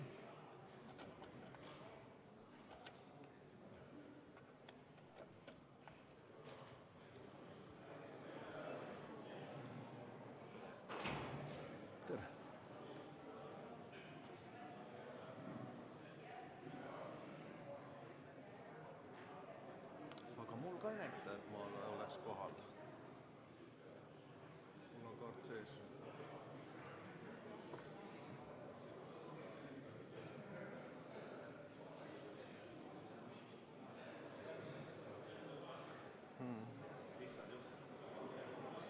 Peeter Ernitsa kaart ei tööta ja mikrofon samamoodi.